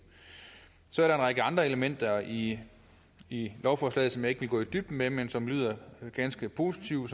så er der en række andre elementer i i lovforslaget som jeg ikke vil gå i dybden med men som lyder ganske positive